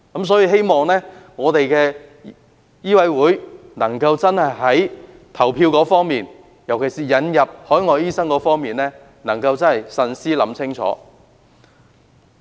所以，我希望香港醫學會在投票時，尤其是就引入海外醫生方面，真的能夠慎思清楚。